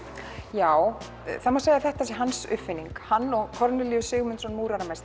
já það má segja að þetta sé hans uppfinning hann og Kornelíus Sigmundsson